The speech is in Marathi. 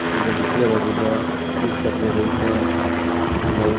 कुणी दुसऱ्या बाजूला केस कापण्याकरिता लावून ठे--